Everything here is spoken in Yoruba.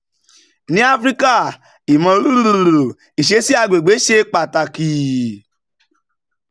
ní áfíríkà imo isesi àgbègbè ṣe pàtàkì.